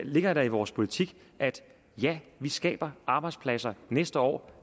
ligger der i vores politik at ja vi skaber arbejdspladser næste år